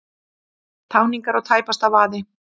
Táningar á tæpasta vaði